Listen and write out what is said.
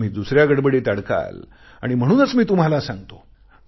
मग तुम्ही दुसऱ्या गडबडीत अडकाल आणि म्हणूनच मी तुम्हाला सांगतो